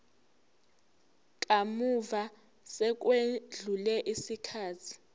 kamuva sekwedlule isikhathi